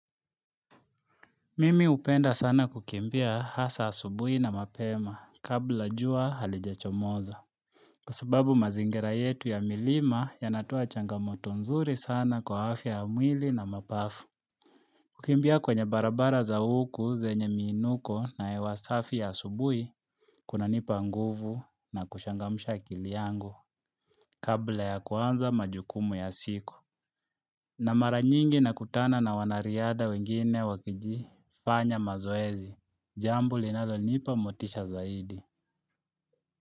Mimi hupenda sana kukimbia hasa asubuhi na mapema kabla jua halijachomoza. Kwa sababu mazingira yetu ya milima yanatoa changamoto nzuri sana kwa afya ya mwili na mapafu. Kukimbia kwenye barabara za huku zenye miinuko na hewa safi ya asubuhi kunanipa nguvu na kuchangamsha akili yangu kabla ya kuanza majukumu ya siku. Na mara nyingi nakutana na wanariadha wengine wakizifanya mazoezi, jambo linalonipa motisha zaidi.